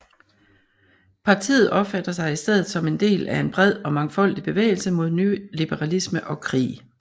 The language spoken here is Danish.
Partiet opfatter sig i stedet som en del af en bred og mangfoldig bevægelse mod nyliberalisme og krig